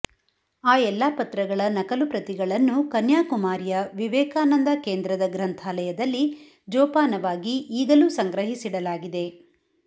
ಆ ಎಲ್ಲ ಪತ್ರಗಳ ನಕಲು ಪ್ರತಿಗಳನ್ನು ಕನ್ಯಾಕುಮಾರಿಯ ವಿವೇಕಾನಂದ ಕೇಂದ್ರದ ಗ್ರಂಥಾಲಯದಲ್ಲಿ ಜೋಪಾನವಾಗಿ ಈಗಲೂ ಸಂಗ್ರಹಿಸಿಡಲಾಗಿದೆ